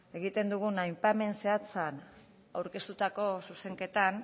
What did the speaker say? egiten dugun aipamen zehatzean aurkeztutako zuzenketan